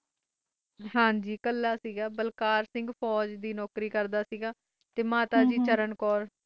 ਹਨਜੀ ਕਾਲੇ ਕਾਲੀ ਸੇ ਤੇ ਬਲਕਾਰ ਸਿੰਘ ਫੋਜ ਦੇ ਨੌਕਰੀ ਕਰਦਾ ਸੇ ਤੇ ਮਾਤਾ ਚਰਨ ਕੌਰ